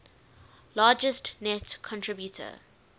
largest net contributor